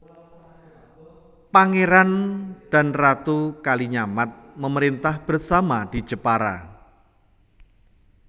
Pangeran dan Ratu Kalinyamat memerintah bersama di Jepara